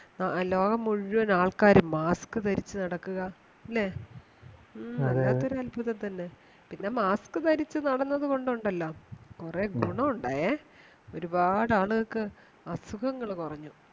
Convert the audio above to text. ലോകം മുഴുവൻ ആൾക്കാരും മാസ്ക് ധരിച്ച് നടക്കുക അല്ലെ മ്മ വല്ലാത്തൊരു അത്ഭുതം തന്നെ പിന്നെ mask ധരിച്ച് നടന്നത് കൊണ്ടുണ്ടല്ലോ കുറെ ഗുണോണ്ടായേ ഒരുപാട് ആളുകൾക്ക് അസുഖങ്ങൾ കുറഞ്ഞു